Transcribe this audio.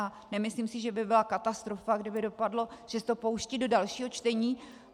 A nemyslím si, že by byla katastrofa, kdyby dopadlo, že se to pouští do dalšího čtení.